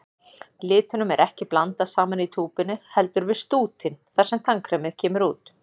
Litunum er ekki blandað saman í túpunni, heldur við stútinn þar sem tannkremið kemur út.